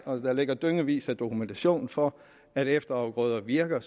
og der ligger dyngevis af dokumentation for at efterafgrøder virker